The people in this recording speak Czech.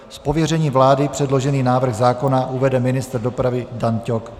Z pověření vlády předložený návrh zákona uvede ministr dopravy Dan Ťok.